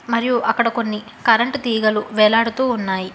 మరియు అక్కడ కొన్ని కరెంటు తీగలు వేలాడుతూ ఉన్నాయి